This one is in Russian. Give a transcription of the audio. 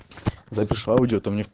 запишу аудио а то мне